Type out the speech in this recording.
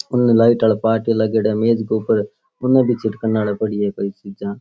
उन लाइट आला पार्ट्या लागयोड़ा है मेज के ऊपर उन भी छिडकन आली पड़ी है कोई चीजा।